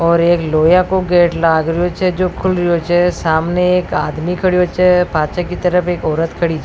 और एक लोहा को गेट लाग रेहो छ जो खुल रेहो छ सामने एक आदमी खड़ेयो छ पाछे की तरफ एक औरत खड़ी छ।